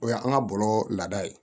O y'an ka bɔlɔlɔ laada ye